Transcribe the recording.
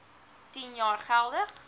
tien jaar geldig